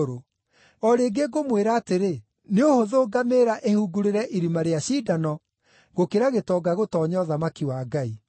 O rĩngĩ ngũmwĩra atĩrĩ, nĩ ũhũthũ ngamĩĩra ĩhungurĩre irima rĩa cindano, gũkĩra gĩtonga gũtoonya ũthamaki wa Ngai.”